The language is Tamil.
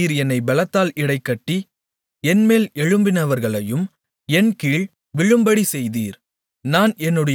யுத்தத்திற்கு நீர் என்னை பெலத்தால் இடைகட்டி என்மேல் எழும்பினவர்களை என்கீழ் விழும்படிச் செய்தீர்